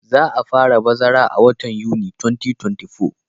Za a fara bazara a watan Yuni 2024.